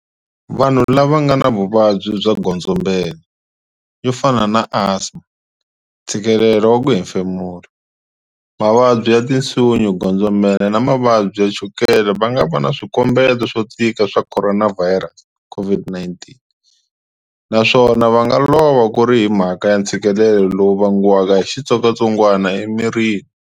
Vanhu lava nga na vuvabyi bya godzombela, yo fana na asma, ntshikelelo wa ku hemfemula, mavabyi ya tinsuyo godzombela na mavabyi ya chukele va nga va na swikombeto swo tika swa khoronavhayirasi, COVID-19, naswona va nga lova ku ri hi mhaka ya ntshikilelo lowu vangiwaka hi xitsongwatsongwana emirini.